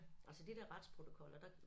Altså de der retsprotokoller der